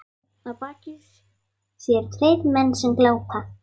Að baki þér tveir menn sem glápa.